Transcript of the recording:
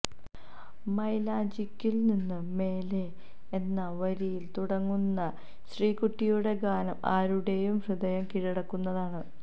മയിലാഞ്ചിക്കുന്നിന് മേലെ എന്ന വരിയില് തുടങ്ങുന്ന ശ്രീക്കുട്ടിയുടെ ഗാനം ആരുടേയും ഹൃദയം കീഴടക്കുന്നതാണ്